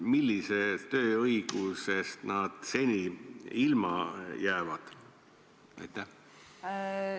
Millistest tööõigustest nad seni ilma jäävad?